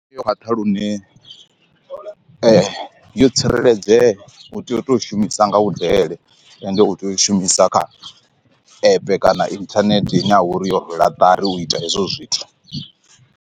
Ndi yo khwaṱha lune yo tsireledzea u tea u to shumisa nga vhu dele ende u tea u i shumisa kha app kana inthanethe ine ya vha uri yo rwela ṱari u ita hezwo zwithu.